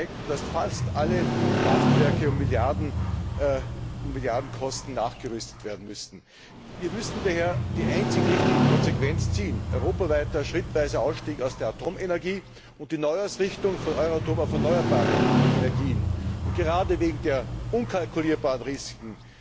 Die Tests zeigten, dass fast alle Kraftwerke um Milliardenkosten nachgerüstet werden müssen. Wir müssen daher die einzig richtige Konsequenz ziehen europaweiter schrittweiser Ausstieg aus der Atomenergie und die Neuausrichtung von Euratom auf erneuerbare Energien. Gerade wegen der unkalkulierbaren Risken